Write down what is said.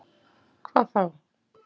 Hvað þá?